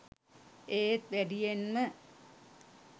ඒත් වැඩියෙන්ම